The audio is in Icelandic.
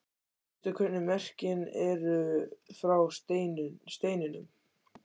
Veistu hvernig merkin eru frá steininum?